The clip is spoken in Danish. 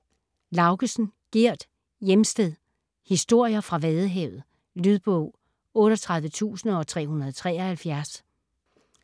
Laugesen, Gerd: Hjemsted: historier fra Vadehavet Lydbog 38373